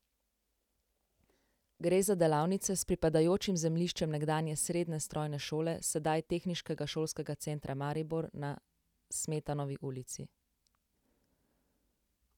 Gre za delavnice s pripadajočim zemljiščem nekdanje srednje strojne šole, sedaj Tehniškega šolskega centra Maribor, na Smetanovi ulici.